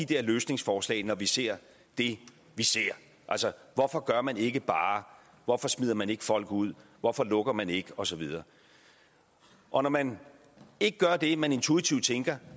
der løsningsforslag når vi ser det vi ser hvorfor gør man ikke bare hvorfor smider man ikke folk ud hvorfor lukker man ikke og så videre og når man ikke gør det man intuitivt tænker